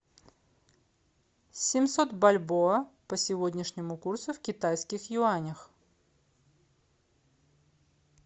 семьсот бальбоа по сегодняшнему курсу в китайских юанях